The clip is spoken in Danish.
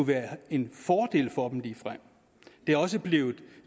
være en fordel for dem det er også blevet